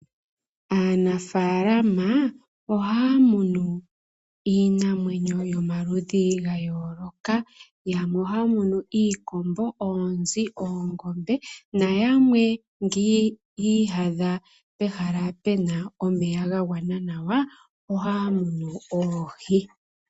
Aanafaalama ohaa munu iinamwenyo yomaludhi ga yooloka. Yamwe oha ya munu iikombo, oonzi, oongombe, na yamwe ngele oyi iyadha pehala Pena omeya ga gwana nawa, oha ya munu oohi.